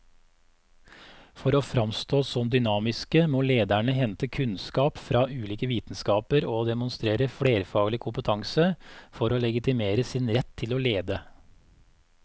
For å framstå som dynamiske må lederne hente kunnskap fra ulike vitenskaper og demonstrere flerfaglig kompetanse for å legitimere sin rett til å lede.